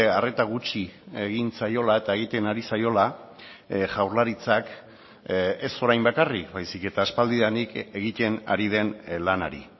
arreta gutxi egin zaiola eta egiten ari zaiola jaurlaritzak ez orain bakarrik baizik eta aspaldidanik egiten ari den lanari